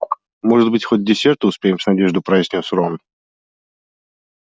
может быть хоть к десерту успеем с надеждой произнёс рон